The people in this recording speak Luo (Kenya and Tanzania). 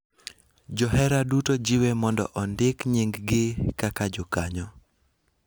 Johera duto jiwe mondo ondik nyinggi kaka jokanyo